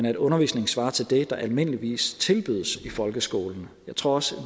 at undervisningen svarer til det der almindeligvis tilbydes i folkeskolen jeg tror også at